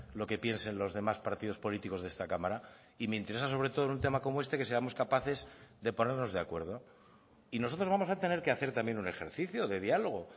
lo que piensen los demás partidos políticos de esta cámara y me interesa sobre todo en un tema como este que seamos capaces de ponernos de acuerdo y nosotros vamos a tener que hacer también un ejercicio de diálogo